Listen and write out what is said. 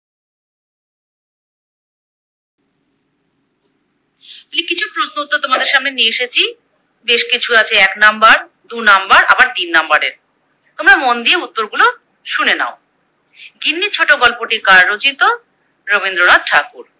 প্রশ্নোত্তর তোমাদের সামনে নিয়ে এসেছি, বেশ কিছু আছে এক নাম্বার, দু নাম্বার আবার তিন নাম্বারের। তোমরা মন দিয়ে উত্তরগুলো শুনে নাও। গিন্নি ছোটো গল্পটি কার রচিত? রবীন্দ্রনাথ ঠাকুর।